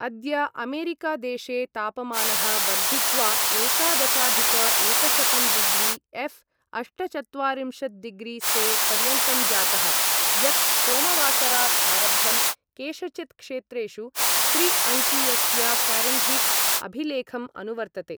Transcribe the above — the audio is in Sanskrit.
अद्य अमेरिकादेशे तापमानः वर्धित्वा एकादशाधिक एकशतं डिग्रि एऴ् अष्टचत्वारिंशत् डिग्रि से पर्यन्तं जातः, यत् सोमवासरात् आरब्धं केषुचित् क्षेत्रेषु त्रि अङ्कीयस्य फ़ारेन्हीट् अभिलेखम् अनुवर्तते।